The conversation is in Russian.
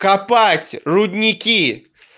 копать рудники